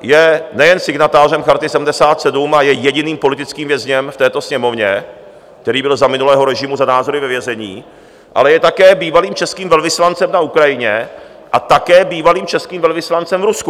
je nejen signatářem Charty 77 a je jediným politickým vězněm v této Sněmovně, který byl za minulého režimu za názory ve vězení, ale je také bývalým českým velvyslancem na Ukrajině a také bývalým českým velvyslancem v Rusku.